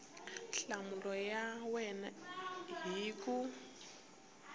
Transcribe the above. nhlamulo ya wena hi ku